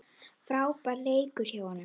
Frábær leikur hjá honum.